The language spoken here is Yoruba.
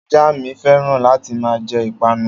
Ajá mi féràn láti máa jẹ Ìpanu